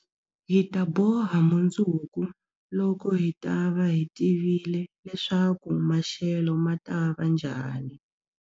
Hi ta boha mundzuku, loko hi ta va hi tivile leswaku maxelo ma ta va njhani.